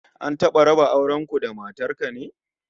An taba raba auren ku da matar ka ne?